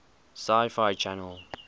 sci fi channel